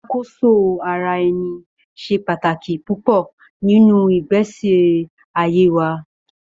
Iṣakoso-ara-ẹni ṣe pataki pupọ ninu igbesi aye wa